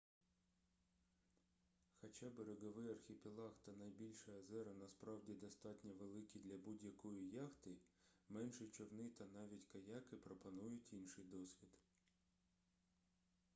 хоча береговий архіпелаг та найбільші озера насправді достатньо великі для будь-якої яхти менші човни та навіть каяки пропонують інший досвід